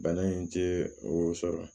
Bana in tɛ o sɔrɔ